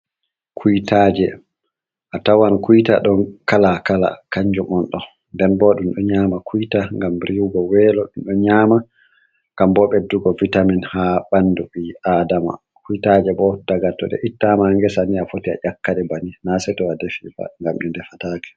Kuytaaje a tawan kuyta ɗon kala kala kanjum on ɗo, nden bo ɗum ɗo nyama kuita gam rihugo welo ɗum ɗo nyama gam bo ɓeddugo vitamin ha ɓandu ɓi adama kuitaje bo daga to ɗe ittama ngesa ni a foti a ƴakkaɗe banin na se to a defia gam ɗi defatake.